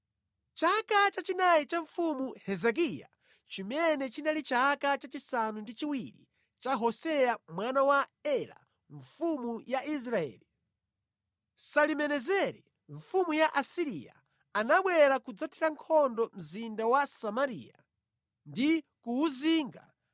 Mʼchaka chachinayi cha Mfumu Hezekiya, chimene chinali chaka chachisanu ndi chiwiri cha Hoseya mwana wa Ela mfumu ya Israeli, Salimenezeri, mfumu ya ku Asiriya anabwera kudzathira nkhondo mzinda wa Samariya ndi kuwuzinga